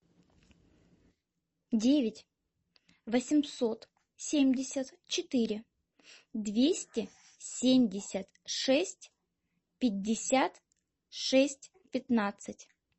девять восемьсот семьдесят четыре двести семьдесят шесть пятьдесят шесть пятнадцать